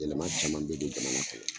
Yɛlɛma caman bɛ don jamana kɔnɔ